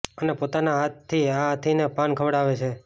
અને પોતાના હાથથી આ હાથીને પાન ખવડાવે છે